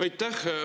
Aitäh!